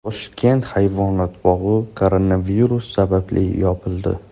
Toshkent hayvonot bog‘i koronavirus sababli yopildi.